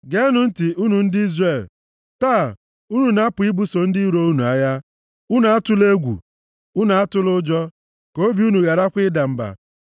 “Geenụ ntị, unu ndị Izrel, taa, unu na-apụ ibuso ndị iro unu agha. Unu atụla egwu. Unu atụla ụjọ. Ka obi unu gharakwa ịda mba.